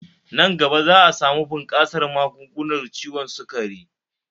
Nan gaba za'a samu bunkasar magungunar ciwon sukari